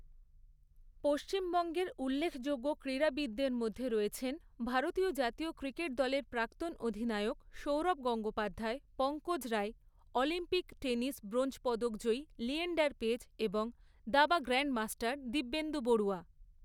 পশ্চিমবঙ্গের উল্লেখযোগ্য ক্রীড়াবিদদের মধ্যে রয়েছেন ভারতীয় জাতীয় ক্রিকেট দলের প্রাক্তন অধিনায়ক Sourav Gangopadhyay, Pankaj Roy, Olympic tennis bronze পদকজয়ী লিয়েন্ডার পেজ এবং দাবা গ্র্যান্ডমাস্টার দিব্যেন্দু বড়ুয়া।